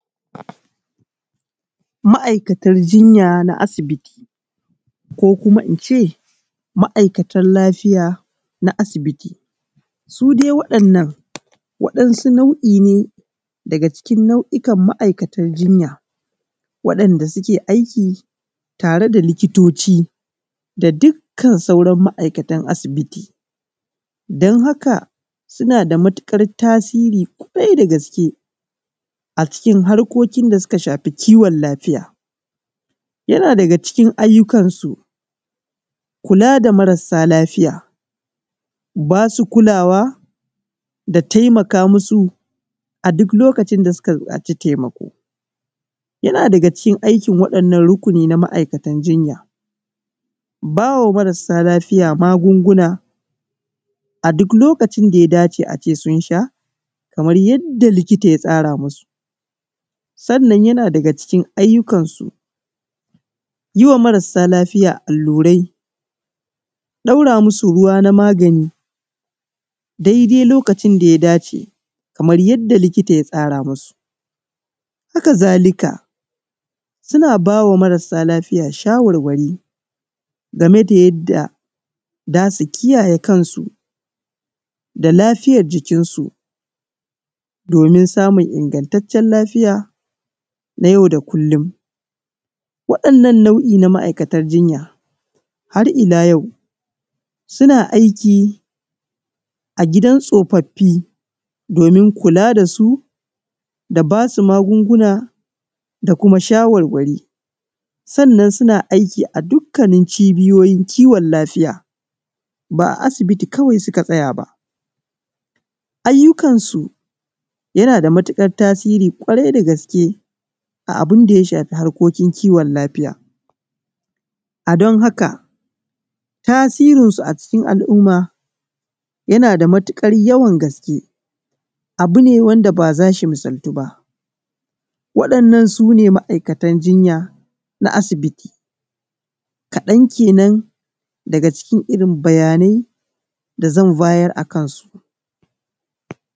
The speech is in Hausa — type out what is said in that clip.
Ma’ikatan jinya na asibiti ko kuma ince ma’ikatan lafiya na asibiti, su dai waɗannan su nau’i ne daga cikin ma’aikatar jinya waɗanɗa suke aiki tare da likitoci da dukan sauran ma’aikatan asibiti, don haka suna da matukar tasiri kwarai da gaske a cikin harkokin da suka shafi kiwon lafiya, yana daga cikin ayyukansu kula da marasa lafiya basu kulawa da taimaka ma su a duk lokacin da suka bukaci taimako, yana daga cikin aikin waɗanan rukuni na ma’aikatan jinya, bawa marasa lafiya magunguna a duk lokacin da ya dace a ce sun sha kamar yadda likita ya tsara musu, sannan yana daga cikin ayyukan su yiwa marasa lafiya allurai ɗaura musu ruwa na magani daidai lokacin da ya dace kamar yadda likita ya tsara musu, haka zalika suna bawa marasa lafiya shawarwari game da yadda zasu kiyaye kansu da lafiyan jikinsu domin samun ingantancen lafiya na yau da kullum, waɗannan nau’i na ma’aikatan jinya har illa yau suna aiki a gidan tsofafi domin kula dasu da basu magunguna da kuma shawarwari, sannan suna aiki a dukanin cibiyoyin kiwon lafiya ba’a asibiti kawai suka tsaya ba ayyukansu yana daga tasiri ƙwarai dgaske a abun da ya shafi harkokin kiwon lafiya, a don haka tasirin su a cikin al’umma yana da matukar yawan gaske abu ne wanda baza shi misaltuba waɗannan sune ma’aikatan jinya na asibiti kaɗan kenan daga cikin irin bayyanai da zan bayar game dasu.